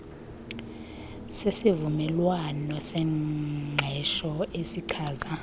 sesivumelwano sengqesho esichaza